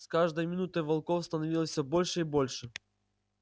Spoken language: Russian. с каждой минутой волков становилось всё больше и больше